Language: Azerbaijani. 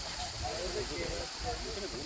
Hopla, hopla, hopla.